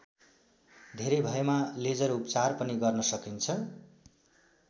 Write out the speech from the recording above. धेरै भएमा लेजर उपचार पनि गर्न सकिन्छ।